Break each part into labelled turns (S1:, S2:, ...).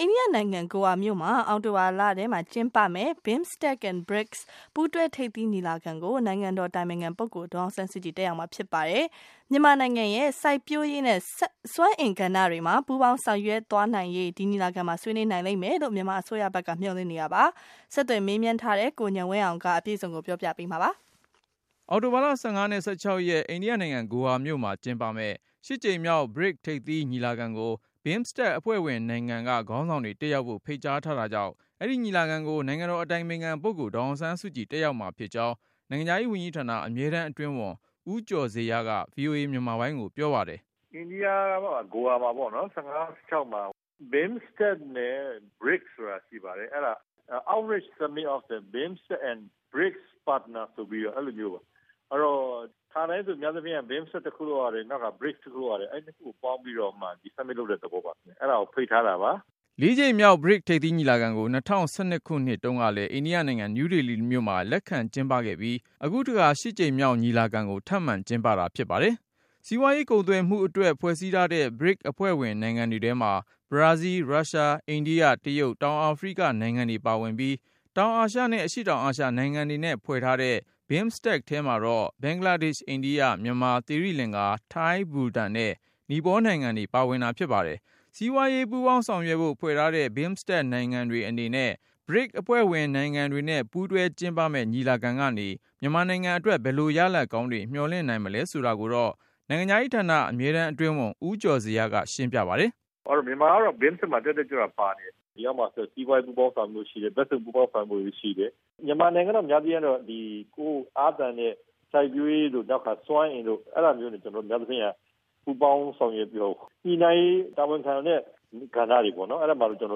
S1: အိန္ဒိယနိုင်ငံ ဂိုအာမြို့မှာ အောက်တိုဘာလထဲ ကျင်းပမယ့် BIMSTEC နဲ့ BRICS ပူးတွဲ ထိပ်သီးညီလာခံကို နိုင်ငံတော်အတိုင်ပင်ခံပုဂ္ဂိုလ် ဒေါ်အောင်ဆန်းစုကြည် တက်ရောက် မှာဖြစ်ပါတယ်။ မြန်မာနိုင်ငံရဲ့ စိုက်ပျိုးရေးနဲ့ စွမ်းအင်ကဏ္ဍတွေမှာ ပူးပေါင်းဆောင်ရွက်သွားနိုင်ရေး- အဲဒီညီလာ ခံမှာ ဆွေးနွေးနိုင်လိမ့်မယ် လို့ မြန်မာ အစိုးရဘက်က မျှော်လင့်နေတာပါ။ ဆက်သွယ်စုံစမ်းထားတဲ့ ကိုဉာဏ်ဝင်းအောင်က တင်ပြပါမယ်။
S2: အောက်တိုဘာလ ၁၅ နဲ့ ၁၆ ရက် အိန္ဒိယနိုင်ငံ ဂိုအာမြို့မှာကျင်းပမယ့် ၈ ကြိမ်မြောက် BRICS ထိပ်သီးညီလာခံကို BIMSTEC အဖွဲ့ဝင်နိုင်ငံ က ခေါင်းဆောင်တွေ တက်ရောက်ဖို့ ဖိတ်ကြား ထားတာကြောင့် အဲဒီညီလာခံ ကို နိုင်ငံတော်အတိုင်ပင်ခံပုဂ္ဂိုလ် ဒေါ်အောင်ဆန်းစုကြည် တက်ရောက် မှာဖြစ်ကြောင်း နိုင်ငံခြားရေးဝန်ကြီးဌာန အမြဲတမ်းအတွင်းဝန် ဦးကျော်ဇေယျက VOA မြန်မာပိုင်းကို ပြောပါတယ်
S1: ။ " အိန္ဒိယ ဂိုအာမှာ ၁၅၊ ၁၆ မှာ BIMSTEC and BRICS ဆိုပြီးရှိပါတယ်။ Outreach Summit of the BIMSTEC and BRICS partners ဆိုပြီးတော့ပေါ့။ ခါတိုင်းကတော့ BIMSTEC ကတခု၊ BRICS ကတခု အဲ့နှစ်ခုကိုပေါင်းပြီးတော့မှ အခု Summit လုပ်တဲ့သဘောပါ။ အဲ့တာကို ဖိတ်ထားတာပါ
S2: ။" ၄ ကြိမ်မြောက် BRICS ထိပ်သီးညီလာခံကို ၂၀၁၂ ခုနှစ်တုန်းကလည်း အိန္ဒိယနိုင်ငံ နယူးဒေလီမှာ လက်ခံ ကျင်းပခဲ့ပြီး၊ အခုတခါ ၈ ကြိမ် မြောက် ထပ်မံ ကျင်းပ တာဖြစ်ပါတယ်။ စီးပွားကုန်သွယ်မှုအတွက် ဖွဲ့ထားတဲ့ BRICS အဖွဲ့ဝင်နိုင်ငံတွေထဲမှာ ဘရာဇီး၊ ရုရှား၊ အိန္ဒိယ၊ တရုတ်၊ တောင်အာဖရိက နိုင်ငံတွေပါဝင်ပြီး၊ တောင်အာရှနဲ့ အရှေ့တောင်အာရှနိုင်ငံတွေနဲ့ဖွဲ့ထားတဲ့ BIMSTEC ထဲမှာတော့ ဘင်္ဂလားဒေ့ချ်၊ အိန္ဒိယ၊ မြန်မာ၊ သီရိလင်္ကာ၊ ထိုင်း၊ ဘူတန်နဲ့ နီပေါနိုင်ငံတွေ ပါဝင်တာဖြစ်ပါတယ်။ စီးပွားရေး ပူူူးပေါင်းဆောင်ရွက်ဖို့ ဖွဲ့ထားတဲ့ BIMSTEC နိုင်ငံတွေအနေနဲ့ BRICS အဖွဲ့ဝင်နိုင်ငံတွေနဲ့ ပူးတွဲကျင်းပမယ့် ညီလာခံကနေ မြန်မာနိုင်ငံအတွက် ဘယ်လို ရလဒ်ကောင်းတွေ မျှော်လင့်နိုင်မလဲဆိုတာကိုတော့ အမြဲတမ်းအတွင်းဝန် ဦးကျော်ဇေယျက ရှင်းပြပါတယ်
S1: ။ " မြန်မာကတော့ BIMSTEC မှာ တက်တက်ကြွကြွပါနေတယ်။ ဒီထဲမှာ စီးပွားရေး ပူးပေါင်းဆောင်ရွက်မှု ဘက်စုံပူးပေါင်းဆောင်ရွက်မှုရှိတယ်။ များသောအား့ဖြင့် မြန်မာနိုင်ငံကတော့ ကိုယ်အားသန်တဲ့ စိုက်ပျိုးရေးတို့ စွမ်းအင်တို့မှာ ပူးပေါင်းဆောင်ရွက်ပြီးတော့ ညှိနှိုင်းရေး တာဝန်ခံတဲ့ ကဏ္ဍတွေမှာ တက်တက်ကြွ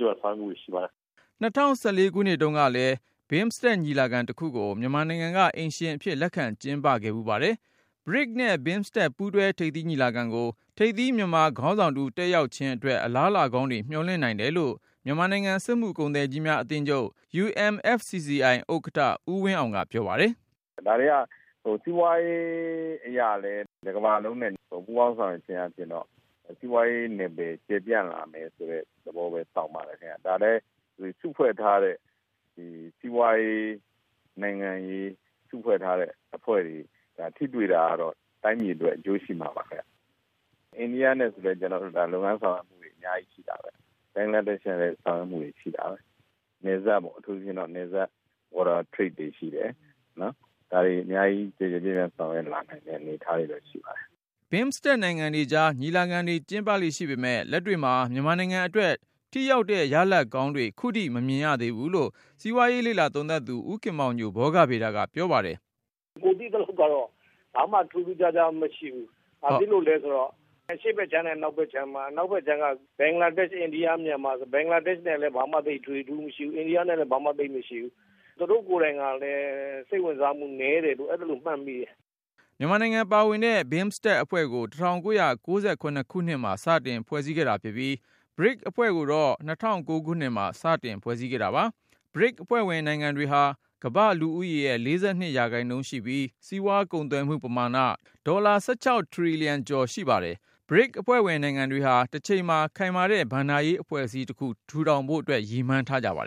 S1: ကြွ ဆောင်ရွက်မှုတွေရှိပါတယ်။ "
S2: ၂၀၁၄ ခုနှစ်တုန်းကလည်း BIMSTEC ညီလာခံတခုကို မြန်မာနိုင်ငံက အိမ်ရှင်အဖြစ် လက်ခံကျင်းပခဲ့ပါတယ်။ BRICS နဲ့ BIMSTEC ပူးတွဲ ထိပ်သီးညီလာခံကို ထိပ်သီး မြန်မာခေါင်းဆောင်တဦး တက်ရောက်ခြင်းအတွက် အလားလာကောင်းတွေ မျှော်လင့်နိုင်တယ်လို့ မြန်မာနိုင်ငံ စက်မှုကုန်သည်ကြီးများ အသင်းချုပ် UMFCCI ဥက္ကဋ္ဌ ဦးဝင်းအောင်က ပြောပါတယ်
S3: ။ " ဒါတွေက စီးပွားရေးအရလည်း တကမ္ဘာလုံးနဲ့ ပူးပေါင်းဆောင်ရွက်ခြင်းအားဖြင့် စီးပွားရေးနယ်ပယ်မှာ ကျယ်ပြန့်လာမယ်ဆိုတဲ့သဘောဆောင်ပါတယ်ခင်ဗျ။ ဒါတွေက စုဖွဲ့ထားတဲ့ စီးပွားရေး၊ နိုင်ငံရေး စုဖွဲ့ထားတဲ့အဖွဲ့တွေ ထိတွေ့တာကတော့ တိုင်းပြည်အတွက် အကျိုးရှိမှာပါခင်ဗျ။ အိန္ဒိယနဲ့ဆိုရင်လည်း ကျနော်တို့ လုပ်ငန်းဆောင်ရွက်မှုတွေ အများကြီးရှိတာပဲ။ ဘင်္ဂလားဒေ့ရှ်နဲ့ ဆိုလည်း ဆောင်ရွက်မှုတွေ အများကြီးရှိတာပဲ။ နယ်စပ်ပေါ့။ အထူးသဖြင့် နယ်စပ်ကုန်သွယ်မှုတွေရှိတယ်။ ဒါတွေ အများကြီး ကျယ်ကျယ်ပြန့်ပြန့် ဆောင်ရွက်လာနိုင်တဲ့ အနေအထားတွေရှိပါတယ်
S2: ။ " BIMSTEC နိုင်ငံတွေကြား ညီလာခံတွေကျင်းပလေ့ ရှိပေမယ့် လက်တွေ့မှာ မြန်မာနိုင်ငံအတွက် ထိရောက်တဲ့ ရလဒ်ကောင်းတွေ ခုထိမမြင်ရ သေးဘူးလို့ စီးပွားရေးလေ့လာသုံးသပ်သူ ဦးခင်မောင်ညို က မြင်ပါတယ်။ "
S1: ကိုယ်သိသလောက်ကတော့ ဘာမှ ထူးထူးခြားခြား မရှိဘူး။ ဘာဖြစ်လို့လဲဆိုတော့ အရှေ့ဘက်ခြမ်းနဲ့ အနောက်ဘက်ခြမ်းမှာ အနောက်ဘက်ခြမ်းက ဘင်္ဂလားဒေ့ရှ် အိန္ဒိယ မြန်မာဆို ဘင်္ဂလားဒေ့ရှ် နဲ့လည်း ဘာမှ သိပ်ထွေထွေထူးထူး မရှိဘူး။ အိန္ဒိယနဲ့လည်း ဘာမှ ထွေထွေ ထူးထူး သိပ်မရှိဘူး။ သူတို့ကိုယ်တိုင်ကလည်း စိတ်ဝင်စားမှု သိပ်နည်းတယ်လို့ အဲ့သလို မှတ်မိတယ်။
S2: " မြန်မာနိုင်ငံပါဝင်တဲ့ BIMSTEC အဖွဲ့ကို ၁၉၉၇ ခုနှစ်မှာ စတင်ဖွဲ့စည်းခဲ့တာဖြစ်ပြီး၊ BRICS အဖွဲ့ကိုတော့ ၂၀၀၉ ခုနှစ်မှာ စတင်ဖွဲ့စည်းခဲ့တာပါ။ BRICS အဖွဲ့ဝင်နိုင်ငံတွေဟာ ကမ္ဘာ့လူဦးရေရဲ့ ၄၂% ရှိပြီး၊ စီးပွားကုန်သွယ်မှု ပမာဏ ဒေါ်လာ ၁၆ ထရီလီယံကျော် ရှိပါတယ်။ BRICS အဖွဲ့ဝင် နိုင်ငံတွေဟာ တချိန်မှာ ခိုင်မာတဲ့ ဘဏ္ဍာရေးအဖွဲ့အစည်းတခု ထူထောင်နိုင်ဖို့ ရည်မှန်းထားကြပါတယ်